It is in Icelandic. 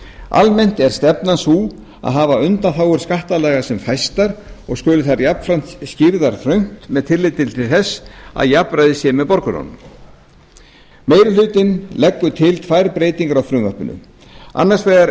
almennt er stefnan sú að hafa undanþágur skattalaga sem fæstar og skulu þær jafnframt skýrðar þröngt með tilliti til þess að jafnræði sé með borgurunum meiri hlutinn leggur til tvær breytingar á frumvarpinu annars vegar er